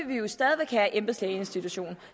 vi jo stadig væk have embedslægeinstitutionen